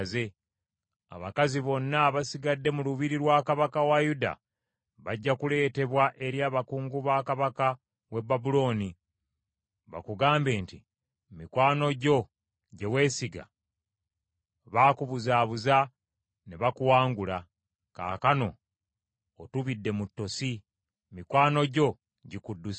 Abakazi bonna abasigadde mu lubiri lwa kabaka wa Yuda bajja kuleetebwa eri abakungu ba kabaka w’e Babulooni, bakugambe nti, “ ‘Mikwano gyo gye weesiga baakubuzaabuza ne bakuwangula. Kaakano otubidde mu ttosi. Mikwano gyo gikudduseeko.’